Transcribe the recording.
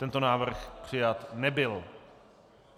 Tento návrh přijat nebyl.